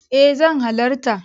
E zan halarta.